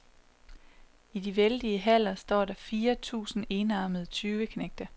I de vældige haller står der fire tusinde enarmede tyveknægte.